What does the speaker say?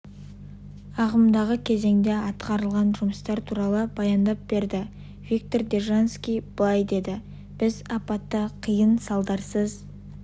ағымдағы кезеңде атқарылған жұмыстар туралы баяндап берді виктор держанский былай деді біз апатты қиын салдарсыз